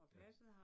Ja